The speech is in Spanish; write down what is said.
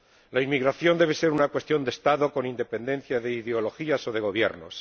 La inmigración debe ser una cuestión de Estado con independencia de ideologías o de gobiernos.